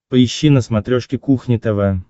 поищи на смотрешке кухня тв